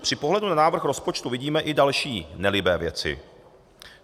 Při pohledu na návrh rozpočtu vidíme i další nelibé věci.